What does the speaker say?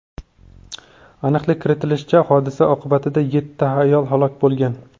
Aniqlik kiritishlaricha, hodisa oqibatida yetti ayol halok bo‘lgan.